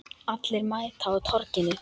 Allir mæta á Torginu